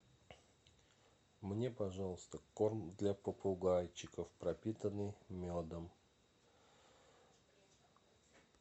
мне пожалуйста корм для попугайчиков пропитанный медом